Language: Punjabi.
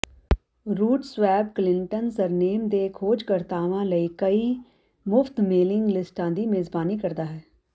ਰੂਟਸਵੈੱਬ ਕਲਿੰਟਨ ਸਰਨੇਮ ਦੇ ਖੋਜਕਰਤਾਵਾਂ ਲਈ ਕਈ ਮੁਫ਼ਤ ਮੇਲਿੰਗ ਲਿਸਟਾਂ ਦੀ ਮੇਜ਼ਬਾਨੀ ਕਰਦਾ ਹੈ